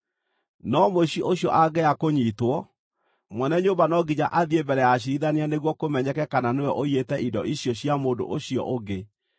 No mũici ũcio angĩaga kũnyiitwo, mwene nyũmba no nginya athiĩ mbere ya aciirithania nĩguo kũmenyeke kana nĩwe ũiyĩte indo icio cia mũndũ ũcio ũngĩ.